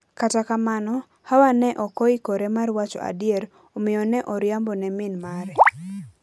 Kata kamano, Hawa ne ok oikore mar wacho adier, omiyo ne oriambo ne min mare.